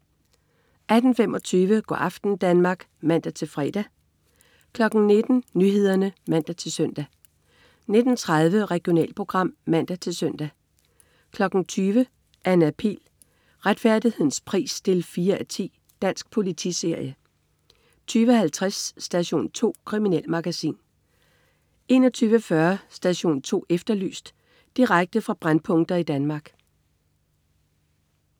18.25 Go' aften Danmark (man-fre) 19.00 Nyhederne (man-søn) 19.30 Regionalprogram (man-søn) 20.00 Anna Pihl. Retfærdighedens pris 4:10. Dansk politiserie 20.50 Station 2. Kriminalmagasin 21.40 Station 2 Efterlyst. Direkte fra brændpunkter i Danmark